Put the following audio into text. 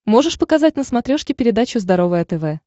можешь показать на смотрешке передачу здоровое тв